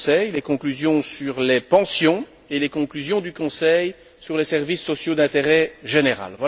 les conclusions sur les pensions et les conclusions du Conseil sur les services sociaux d'intérêt général.